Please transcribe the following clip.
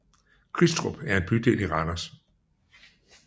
Kristrup er en bydel i Randers